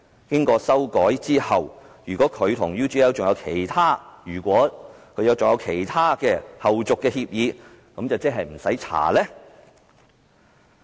經過修改後，如果他和 UGL 還有其他的後續協議，是否便不用調查？